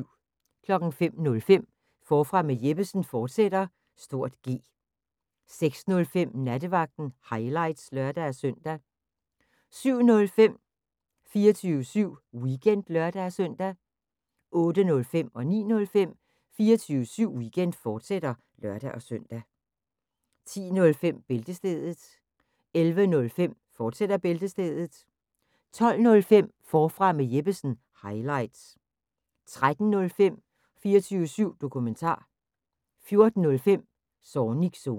05:05: Forfra med Jeppesen fortsat (G) 06:05: Nattevagten – highlights (lør-søn) 07:05: 24syv Weekend (lør-søn) 08:05: 24syv Weekend, fortsat (lør-søn) 09:05: 24syv Weekend, fortsat (lør-søn) 10:05: Bæltestedet 11:05: Bæltestedet, fortsat 12:05: Forfra med Jeppesen – highlights 13:05: 24syv Dokumentar 14:05: Zornigs Zone